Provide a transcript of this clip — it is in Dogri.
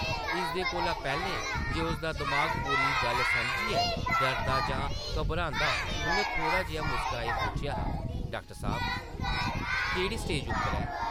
इसदे कोला पैह्लें जे उसदा दमाग पूरी गल्ल समझियै डरदा जां घबरांदा उʼन्नै थोह्ड़ा जेहा मुस्कराइयै पुच्छेआ हा, ‘‘डाक्टर साह्ब, केह्ड़ी स्टेज उप्पर ऐ?’’